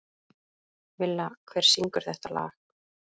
Villa, hver syngur þetta lag?